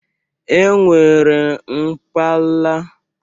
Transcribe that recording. E nwere mpakala labụ Fịzịks.